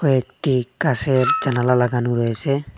কয়েকটি কাসের জানালা লাগানো রয়েসে।